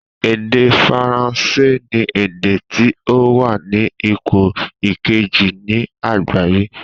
Èdè faransé ni èdè tí ó wa ní ipò kejì ní àgbáyé